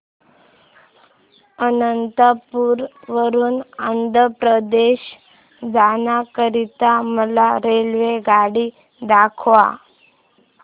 अनंतपुर वरून आंध्र प्रदेश जाण्या करीता मला रेल्वेगाडी दाखवा